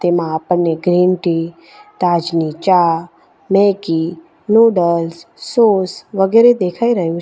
એમાં આપણને green tea તાજની ચા મેગી નુડલ્સ સોસ વગેરે દેખાય રહ્યુ છે.